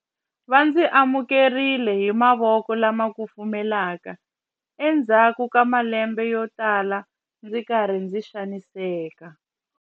Va ndzi amukerile hi mavoko lama kufumelaka endzhaku ka malembe yotala ndzi ri karhi ndzi xaniseka.